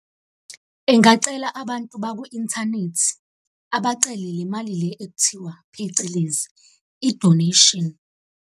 Engacela abantu bakwi-inthanethi. Abacele le mali le ekuthiwa phecelezi, i-donation.